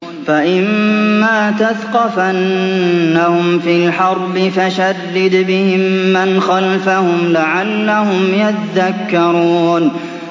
فَإِمَّا تَثْقَفَنَّهُمْ فِي الْحَرْبِ فَشَرِّدْ بِهِم مَّنْ خَلْفَهُمْ لَعَلَّهُمْ يَذَّكَّرُونَ